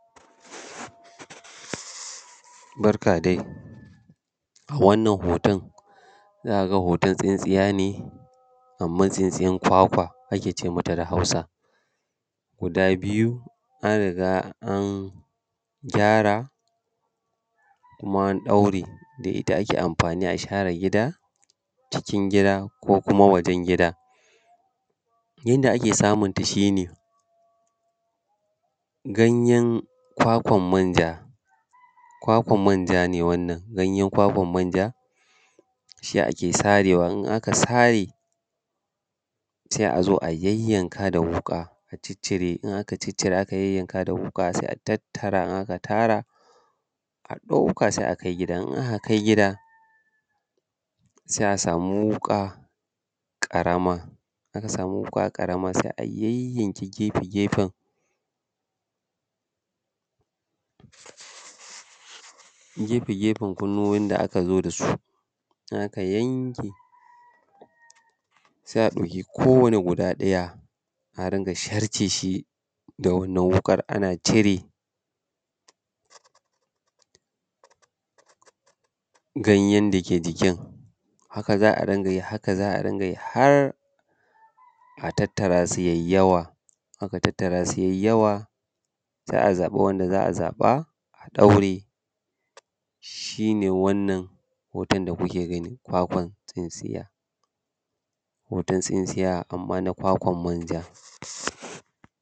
Barka dai a wannan hoton za ka ga hoton tsintsiya ne, amman tsintsiyan kwakwa ake ce mata da hausa guda biyu an riga an gyara kuma an ɗaure, da ita ake share gida, cikin gida ko kuma wajan gida. Yanda ake samunta shi ne ganyen kwakwan manja, kwakwan manja ne wannan, ganyen kwakwan manja shi ake sarewa, in aka sare sai a zo a yanyanka da wuƙa a ciccire in aka ciccire aka yayyanka da wuƙa sai a tattara in aka tara, a ɗauka sai a kai gidan, in aka kai gidan sai a samu wuka ƙaramar, in aka samu wuƙa ƙarama sai a yayyanke gefe gefen, gefe gefe kunnuwowin da aka zo da su. In aka yanke sai a ɗauki ko wane guda ɗaya a rinƙa sarceshi da wannan wukan ana cire ganyen da ke jikin. Haka za a ringa yi haka za a ringa yi har a tattara su yai yawa, in aka tattara su yai yawa sai a zaɓi wanda za a zaɓa, a daure shi ne wannan hoton da kuke gani kwakwan tsintsiya. Hoton tsintsiya amman na kwakwan manja.